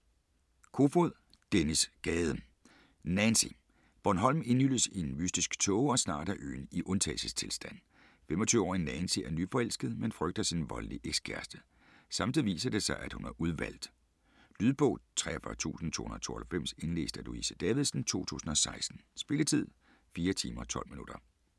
Kofod, Dennis Gade: Nancy Bornholm indhylles i en mystisk tåge, og snart er øen i undtagelsestilstand. 25-årige Nancy er nyforelsket, men frygter sin voldelige eks-kæreste. Samtidig viser det sig, at hun er udvalgt. Lydbog 43292 Indlæst af Louise Davidsen, 2016. Spilletid: 4 timer, 12 minutter.